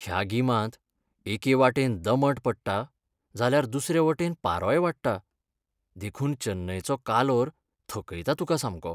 ह्या गिमांत एके वाटेन दमट पडटा जाल्यार दुसरे वटेन पारोय वाडटा, देखून चेन्नयचो कालोर थकयता तुका सामको.